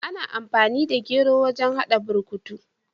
Ana amfani da gero wajen hada burkutu.